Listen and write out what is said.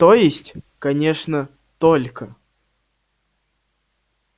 то есть конечно только